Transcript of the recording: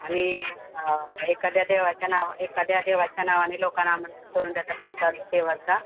आणि आ, एखाद्या देवाच्या नावाने लोकांना आमंत्रित करून त्याचा प्रसाद देवाचा